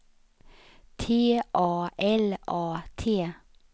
T A L A T